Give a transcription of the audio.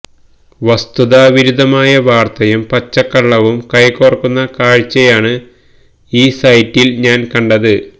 വസ്തുതാ വിരുദ്ധമായ വാർത്തയും പച്ചക്കള്ളവും കൈകോർക്കുന്ന കാഴ്ചയാണ് ഈ സൈറ്റിൽ ഞാൻ കണ്ടത്